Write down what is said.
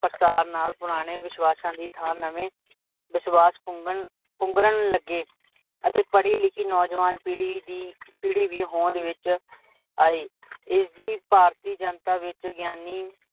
ਪ੍ਰਸਾਰ ਨਾਲ ਪੁਰਾਣੇ ਵਿਸ਼ਵਸ਼ਾ ਦੀ ਥਾਂ ਨਵੇ ਵਿਸ਼ਵਾਸ਼ ਪੁੰਗਰਨ ਲੱਗੇ, ਅਤੇ ਪੜੀ ਲਿਖੀ ਨੋਜਵਾਨ ਦੀ ਪੀੜੀ ਵੀ ਹੋਂਦ ਵਿੱਚ ਆਈ, ਇਸਦੀ ਭਾਰਤੀ ਜਨਤਾ ਵਿੱਚ ਗਿਆਨੀ